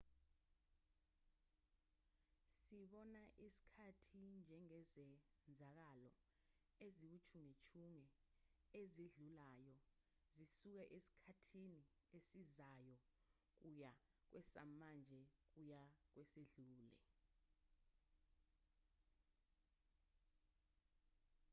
sibona isikhathi njengezenzakalo eziwuchungechunge ezidlulayo zisuka esikhathini esizayo kuya kwesamanje kuya kwesedlule